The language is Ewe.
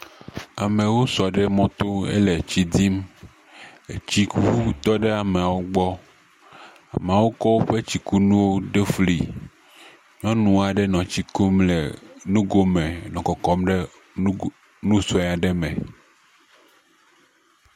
Amewo sɔ ɖe mɔto hele etsi dzi, etsikuŋu aɖewo tɔ ɖe ameawo gbɔ, amewo kɔ woƒe nuwo ɖo fli. Nyɔnu aɖe nɔ etsi kum le nugo me nɔ kɔkɔm ɖe nugo nu sue aɖe me.